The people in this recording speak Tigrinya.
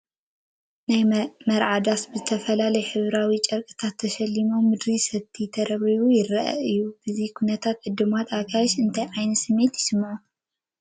ናይ መርዓ ዳስ ብዝተፈላለዩ ሕብራዊ ጨርቅታት ተሸላሊሙ ምድሩ ሰቲ ተረብሪብዎ ይርአ እዩ፡፡ በዚ ኩነታት ዕዱማት ኣጋይሽ እንታይ ዓይነት ስምዒት ይስምዖም?